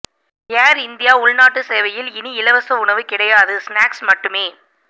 ஏர் India உள்நாட்டு சேவையில் இனி இலவச உணவு கிடையாது ஸ்நாக்ஸ் மட்டுமே